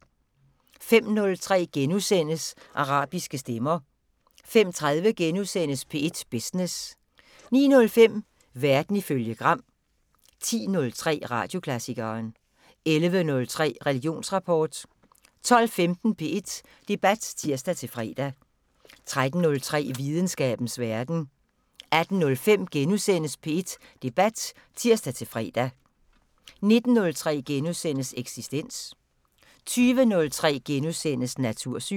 05:03: Arabiske stemmer * 05:30: P1 Business * 09:05: Verden ifølge Gram 10:03: Radioklassikeren 11:03: Religionsrapport 12:15: P1 Debat (tir-fre) 13:03: Videnskabens Verden 18:05: P1 Debat *(tir-fre) 19:03: Eksistens * 20:03: Natursyn *